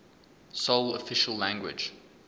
sole official language